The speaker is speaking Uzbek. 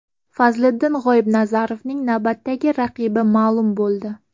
Fazliddin G‘oibnazarovning navbatdagi raqibi ma’lum bo‘ldi.